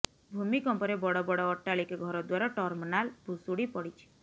ଭୂମିକମ୍ପରେ ବଡ ବଡ ଅଟ୍ଟାଳିକା ଘରଦ୍ୱାର ଟର୍ମନାଲ ଭୁଶୁଡି ପଡିଛି